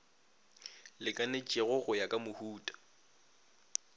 lekanetšego go ya ka mohuta